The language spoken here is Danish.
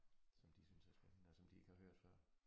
Som de synes er spændende og som de ikke har hørt før